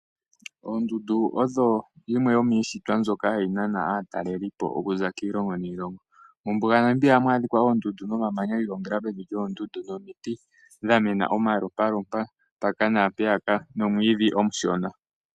Oondundu odho yimwe yomiishitwa mbyoka hayi nana aatalelipo okuza kiilongo niilongo. Mombuga yaNamibia ohamu adhika oondundu nomamanya gi ilongela pevi lyoondundu nomiiti dha mena omalompalompa mpaka nampeyaka, nomwiidhi omushona.